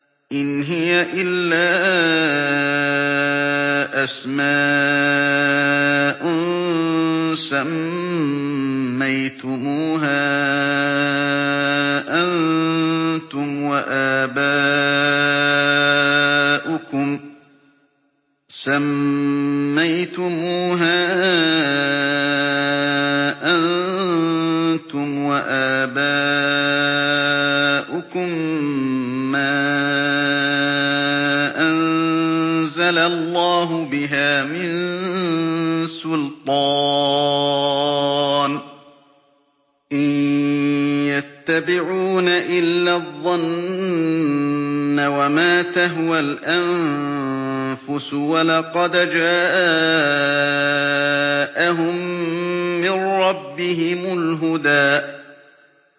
إِنْ هِيَ إِلَّا أَسْمَاءٌ سَمَّيْتُمُوهَا أَنتُمْ وَآبَاؤُكُم مَّا أَنزَلَ اللَّهُ بِهَا مِن سُلْطَانٍ ۚ إِن يَتَّبِعُونَ إِلَّا الظَّنَّ وَمَا تَهْوَى الْأَنفُسُ ۖ وَلَقَدْ جَاءَهُم مِّن رَّبِّهِمُ الْهُدَىٰ